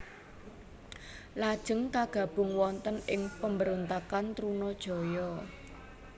Lajeng kagabung wonten ing pemberontakan Trunajaya